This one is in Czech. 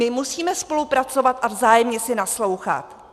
My musíme spolupracovat a vzájemně si naslouchat.